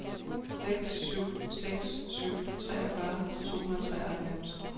seks syv seks syv treogfyrre to hundrede og treoghalvfems